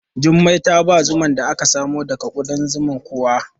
Jummai ta ba zuman da aka samo daga kuɗan zuman kuwa?